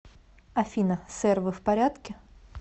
афина сэр вы в порядке